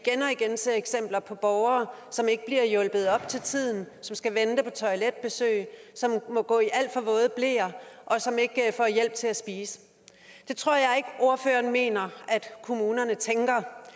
igen ser eksempler på borgere som ikke bliver hjulpet op til tiden som skal vente på toiletbesøg som må gå i alt for våde bleer og som ikke får hjælp til at spise det tror jeg ikke ordføreren mener at kommunerne tænker